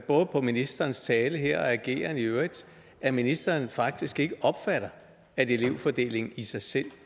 ministerens tale her og ageren i øvrigt at ministeren faktisk ikke opfatter at elevfordelingen i sig selv